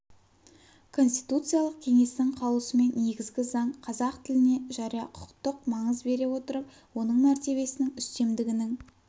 конституциялық кеңестің қаулысымен негізгі заң қазақ тіліне жария-құқықтық маңыз бере отырып оның мәртебесінің үстемдігінің